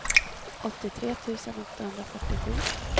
åttiotre tusen åttahundrafyrtiosju